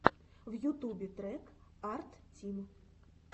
в ютубе трек арттим